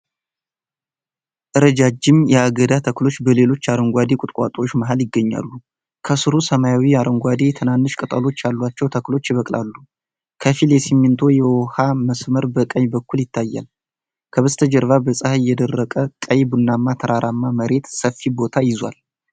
ረጃጅም የአገዳ ተክሎች በሌሎች አረንጓዴ ቁጥቋጦዎች መሃል ይገኛሉ። ከሥሩ ሰማያዊ አረንጓዴ ትናንሽ ቅጠሎች ያላቸው ተክሎች ይበቅላሉ። ከፊል የሲሚንቶ የውሃ መስመር በቀኝ በኩል ይታያል። ከበስተጀርባ በፀሐይ የደረቀ ቀይ ቡናማ ተራራማ መሬት ሰፊ ቦታ ይዟል።